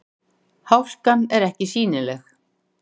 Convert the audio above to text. Hálkan er ekki sýnileg